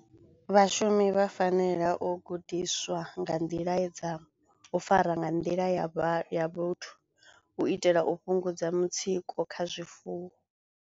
Vhashumi vha fanela u gudiswa nga nḓila dza u fara nga nḓila ya vha ya vhuthu u itela u fhungudza mutsiko kha zwifuwo.